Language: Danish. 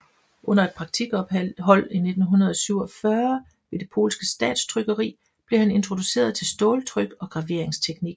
Under et praktikophold i 1947 ved det polske statstrykkeri blev han introduceret til ståltryk og graveringsteknik